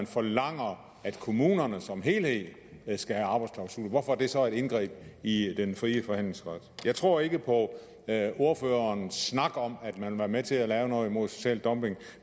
forlanger at kommunerne som helhed skal have arbejdsklausuler hvorfor det så et indgreb i den fri forhandlingsret jeg tror ikke på ordførerens snak om at man vil være med til at lave noget mod social dumping